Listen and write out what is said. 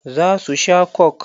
Za su sha coke.